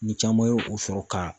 Ni caman ye o sɔrɔ ka